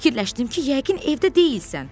Fikirləşdim ki, yəqin evdə deyilsən.